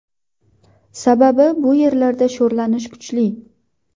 Sababi bu yerlarda sho‘rlanish kuchli.